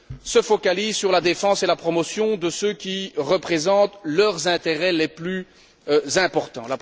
se focalisent sur la défense et la promotion de ce qui représente leurs intérêts les plus importants.